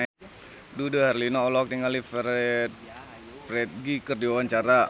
Dude Herlino olohok ningali Ferdge keur diwawancara